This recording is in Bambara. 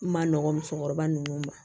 Ma nɔgɔn musokɔrɔba nunnu ma